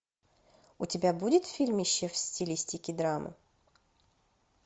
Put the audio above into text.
у тебя будет фильмище в стилистике драмы